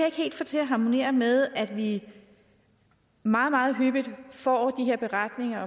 ikke helt få til at harmonere med at vi meget meget hyppigt får de her beretninger